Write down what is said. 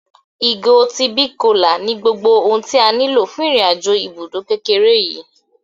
Ìgò ti big cola ní gbogbo ohun tí a nílò fún irin-àjò ibùdó kékeré yìí